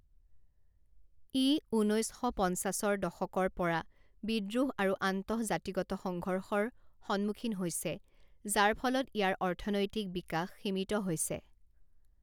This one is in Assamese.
ই ঊনৈছ শ পঞ্চাছৰ দশকৰ পৰা বিদ্ৰোহ আৰু আন্তঃ জাতিগত সংঘৰ্ষৰ সন্মুখীন হৈছে যাৰ ফলত ইয়াৰ অৰ্থনৈতিক বিকাশ সীমিত হৈছে।